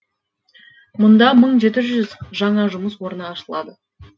мұнда мың жеті жүз жаңа жұмыс орны ашылады